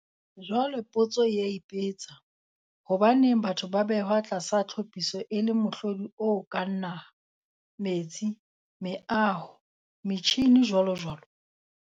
Jwale potso e a ipetsa. Hobaneng batho ba behwa tlasa tlhopiso e le mohlodi o kang naha, metsi, meaho, metjhine, jwalojwalo?